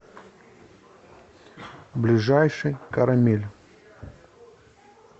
ближайший карамель